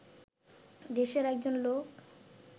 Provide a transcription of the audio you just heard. দেশের একজন লোক